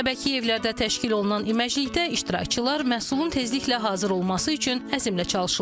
Əbəkiyevlərdə təşkil olunan iməcilikdə iştirakçılar məhsulun tezliklə hazır olması üçün əzmlə çalışırlar.